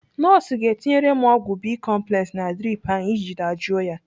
Nọọsụ ga-etinyere m ọgwụ bicomplex na drip ahụ iji dajụọ ya.